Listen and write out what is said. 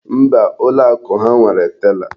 Mba, ụlọ akụ ha nwere tela.